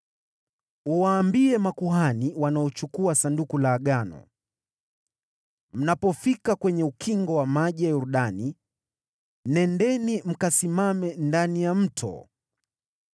Uwaambie makuhani wanaochukua Sanduku la Agano, ‘Mnapofika kwenye ukingo wa maji ya Yordani, nendeni mkasimame ndani ya mto.’ ”